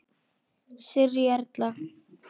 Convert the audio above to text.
Sirrý Erla.